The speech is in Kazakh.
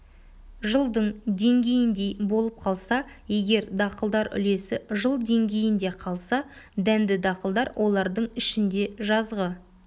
жылдың деңгейіндей болып қалса егер дақылдар үлесі жыл деңгейінде қалса дәнді дақылдар олардың ішінде жазғы